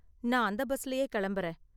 நான் அந்த பஸ்லயே கிளம்பறேன்.